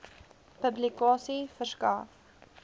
publikasie verskaf